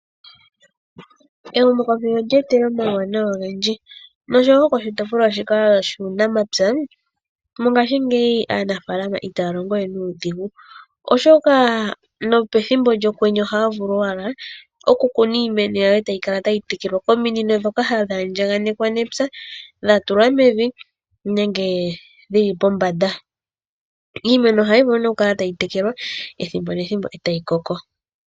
Ehumo komeho olyetelela omawunawa ongendji ,nosho wo koshitopolwa shika shuunamapya mongashi ngeyi aanafalama ita longowe nudhingu Oshoka nopethimbo lyokwendje oha vulu owala oku kuna iimeno yawo otayi Kala tayitekelwa oominino dhoka hadhi andjakanekwa nepya dhatula mevi nenge dhili pombanda, iimeno ohayi vulu ne okukala tayi telekwa ethimbo nethimbo otayikoko.